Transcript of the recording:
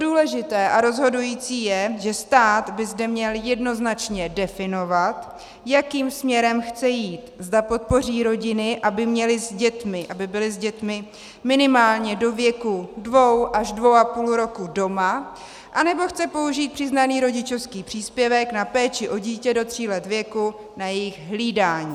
Důležité a rozhodující je, že stát by zde měl jednoznačně definovat, jakým směrem chce jít, zda podpoří rodiny, aby byly s dětmi minimálně do věku dvou až dvou a půl roku doma, anebo chce použít přiznaný rodičovský příspěvek na péči o dítě do tří let věku na jejich hlídání.